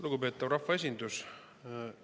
Lugupeetav rahvaesindus!